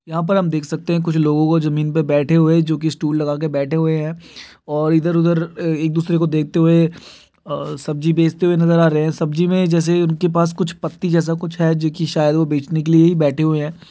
यहाँ पर हम देख सकते हैं कुछ लोगो को जमीन पर बैठे हुए हैं जो कि स्टूल लगाकर बेठे हुए हैं और इधर-उधर एक दूसरे को देखते हुए अ सब्जी बेचते हुए नजर आ रहे हैं। सब्जी में जैसे उनके पास कुछ पत्ती जैसा कुछ है जो कि शायद वो बचने के लिए ही बैठे हुए हैं।